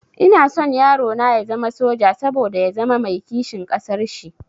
Ina son yarona ya zama soja, saboda ya zama mai kishin ƙasar shi